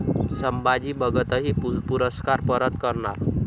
संभाजी भगतही पुरस्कार परत करणार